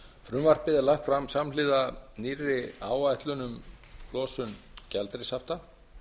frumvarpið er lagt fram samhliða nýrri áætlun um losun gjaldeyrishafta